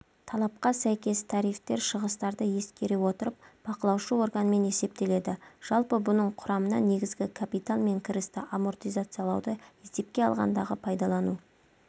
талапқа сәйкес тарифтер шығыстарды ескере отырып бақылаушы органмен есептеледі жалпы бұның құрамына негізгі капитал мен кірісті амортизациялауды есепке алғандағы пайдалану